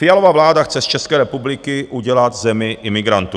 Fialova vláda chce z České republiky udělat zemi imigrantů.